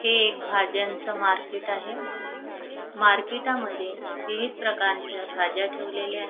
हे एक भाज्यांचं मार्केट आहे मार्केटामध्ये विविध प्रकारच्या भाज्या ठेवलेल्या --